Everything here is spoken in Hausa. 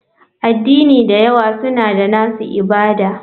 Addini da yawa suna da nasu ibada.